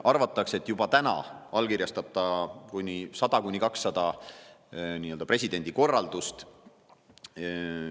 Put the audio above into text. Arvatakse, et juba täna allkirjastab ta presidendina 100–200 korraldust.